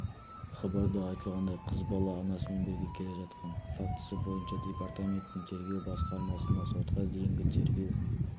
хабарда айтылғандай қыз бала анасымен бірге келе жатқан фактісі бойынша департаменттің тергеу басқармасында сотқа дейінгі тергеу